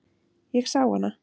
Ég sá hana.